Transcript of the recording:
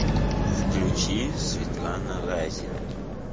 включи светлана разина